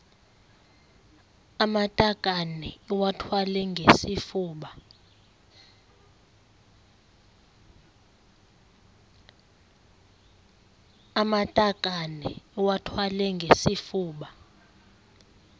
amatakane iwathwale ngesifuba